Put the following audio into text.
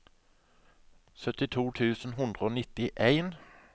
sytti tusen to hundre og nittien